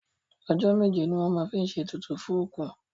Ọjọ́ méje ni wọ́n máa ń fi ṣe ètùtù fún òkú.